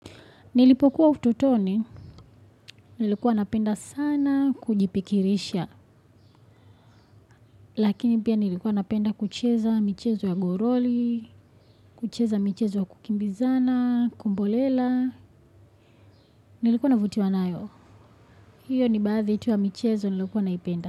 Nilipokuwa ututoni, nilikuwa napenda sana kujipikirisha, lakini pia nilikuwa napenda kucheza michezo ya goroli, kucheza michezo ya kukimbizana, kumbolela, nilikuwa navutiwa nayo. Hiyo ni baadhi tu ya michezo niliokuwa naipenda.